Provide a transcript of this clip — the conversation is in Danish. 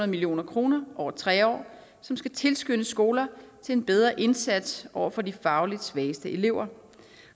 million kroner over tre år som skal tilskynde skoler til en bedre indsats over for de fagligt svageste elever